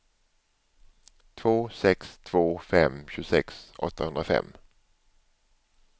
två sex två fem tjugosex åttahundrafem